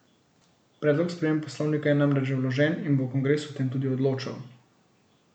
Predlog sprememb poslovnika je namreč že vložen in bo kongres o tem tudi odločal.